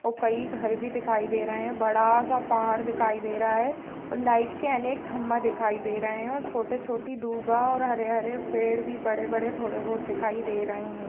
और कई घर भी दिखाई दे रहें हैं और बड़ा सा पहाड़ दिखाई दे रहा है और लाइट के अनेक खम्बा दिखाई दे रहें हैं और छोटे-छोटी और हरे-हरे पेड़ भी बड़े-बड़े थोड़े बोहत दिखाई दे रहें हैं।